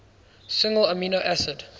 single amino acid